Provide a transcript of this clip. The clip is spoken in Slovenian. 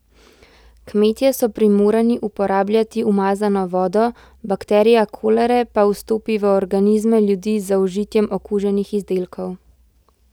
Kmetje so primorani uporabljati umazano vodo, bakterija kolere pa vstopi v organizme ljudi z zaužitjem okuženih izdelkov.